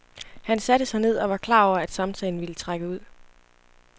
Han satte sig ned og var klar over, at samtalen ville trække ud.